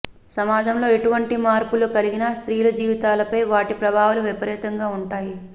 సమాజంలో ఎటువంటి మార్పులు కలిగినా స్త్రీల జీవితాలపై వాటి ప్రభావాలు విపరీతంగా ఉంటాయి